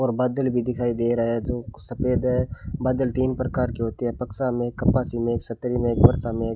और बादल भी दिखाई दे रहा है जो सफेद है बादल तीन प्रकार के होते हैं पक्षा में कपासी में छतरी में एक वर्षा में।